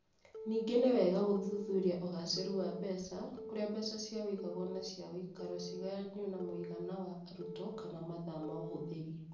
Ningĩ nĩ wega gũthuthuria ũgaacĩru wa mbeca, kũrĩa mbeca cia ũigagwo na cia ũikaro cigayanio na mũigana wa arutwo kana mathaa ma ũhũthĩri.